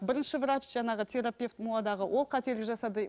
бірінші врач жаңағы терапевт муа дағы ол қателік жасады